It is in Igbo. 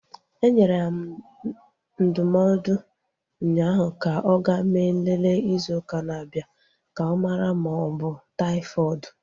Enyere m ya ndụmọdụ unyaahu ka ọ ga mee nlele izu ụka na-abịa ka ọ mara ma ọ bụ taifọdụ